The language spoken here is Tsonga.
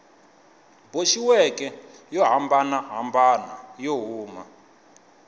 boxiweke yo hambanahambana yo huma